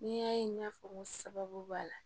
N'i y'a ye n y'a fɔ n ko sababu b'a la